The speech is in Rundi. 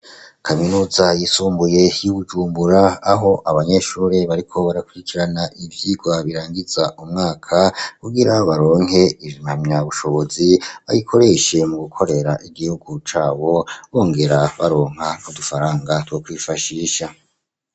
Kaminuza yisumbuye y'i Bujumbura aho abanyeshure bariko barakurikirana ivyigwa birangiza umwaka kugira baronke impamya bushobozi bayikoreshe mu gukorera igihugu cabo bongera baronka n'udufaranga two kwifashisha.